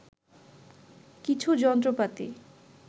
কিছু যন্ত্রপাতি